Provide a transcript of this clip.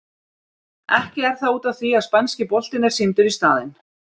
Ekki er það út af því að spænski boltinn er sýndur í staðinn?